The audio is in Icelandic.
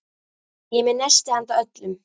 Ég er með nesti handa öllum.